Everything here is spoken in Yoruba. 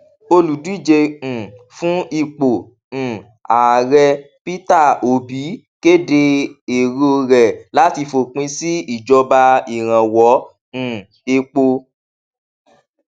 olùdíje um fún ipò um ààrẹ peter obi kéde èrò rẹ láti fòpin sí ìjọba ìrànwọ um epo